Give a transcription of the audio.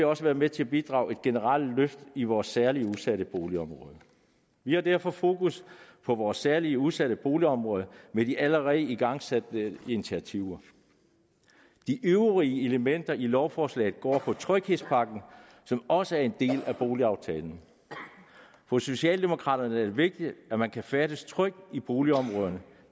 også være med til at bidrage til et generelt løft i vores særligt udsatte boligområder vi har derfor fokus på vores særligt udsatte boligområder med de allerede igangsatte initiativer de øvrige elementer i lovforslaget går på tryghedspakken som også er en del af boligaftalen for socialdemokraterne er det vigtigt at man kan færdes trygt i boligområderne